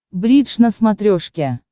бридж на смотрешке